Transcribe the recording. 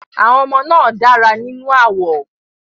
Àwọn ọmọ náà dára nínú àwọ̀.